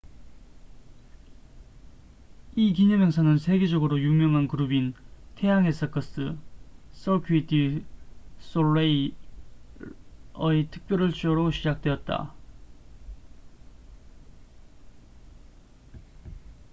이 기념행사는 세계적으로 유명한 그룹인 태양의 서커스cirque du soleil의 특별 쇼로 시작되었다